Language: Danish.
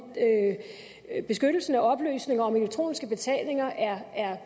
beskyttelsen af oplysninger om elektroniske betalinger er